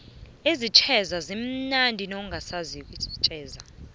isijeza simnandi nawungasaziko